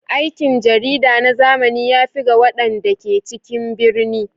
Aikin jarida na zamani ya fi ga waɗanda ke cikin birni.